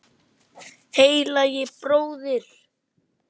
Heilagi bróðir!